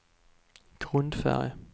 grundfärg